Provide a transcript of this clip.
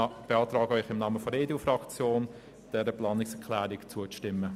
Ich beantrage Ihnen im Namen der EDU-Fraktion, dieser Planungserklärung zuzustimmen.